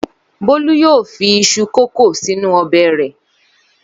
Bólú yóò fi iṣu kòkó sínú ọbẹ̀ rẹ̀.